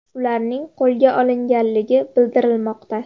Ularning qo‘lga olingani bildirilmoqda.